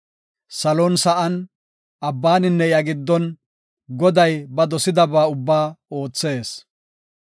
Salon sa7an, abbaninne iya giddon Goday ba dosidaba ubbaa oothees.